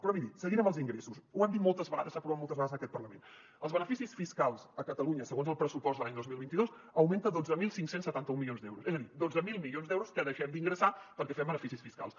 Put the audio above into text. però miri seguint amb els ingressos ho han dit moltes vegades s’ha aprovat moltes vegades en aquest parlament els beneficis fiscals a catalunya segons el pressupost de l’any dos mil vint dos augmenten dotze mil cinc cents i setanta un milions d’euros és a dir dotze mil milions d’euros que deixem d’ingressar perquè fem beneficis fiscals